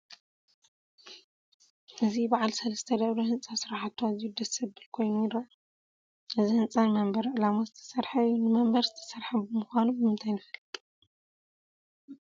እዚ በዓል ሰለስተ ደብሪ ህንፃ ስርሓቱ ኣዝዩ ደስ ዘብል ኮይኑ ይርአ፡፡ እዚ ህንፃ ንመንበሪ ዕላማ ዝተሰርሐ እዩ፡፡ ንመንበሪ ዝተሰርሐ ምዃኑ ብምንታይ ንፈልጥ?